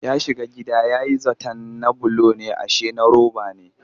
Ya shiga gida ya yi zaton na bulo ne ashe na roba ne